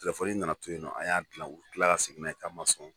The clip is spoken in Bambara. Telefɔni nana to yen nɔ an y'a dilan u tila ka segin n'a ye k'a man sɔn.